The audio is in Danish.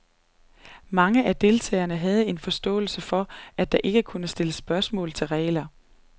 Mange af deltagerne havde en forståelse for, at der ikke kunne stilles spørgsmål til regler.